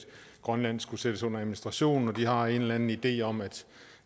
grønland skulle sættes under administration man har en eller anden idé om at